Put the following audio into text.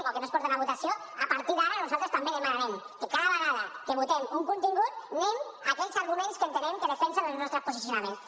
o que no es porten a votació a partir d’ara nosaltres també demanarem que cada vegada que votem un contingut anem a aquells arguments que entenem que defensen els nostres posicionaments